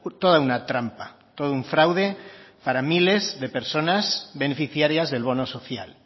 toda una trampa todo un fraude para miles de personas beneficiarias del bono social